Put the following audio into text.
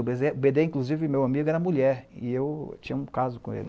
O bê dê, inclusive, meu amigo, era mulher e eu tinha um caso com ele.